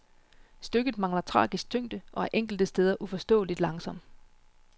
Stykket mangler tragisk tyngde og er enkelte steder uforståeligt langsom.